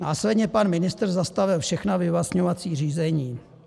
Následně pan ministr zastavil všechna vyvlastňovací řízení.